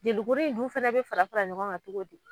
jelikuru in dun fɛnɛ be fara fara ɲɔgɔn kan togo di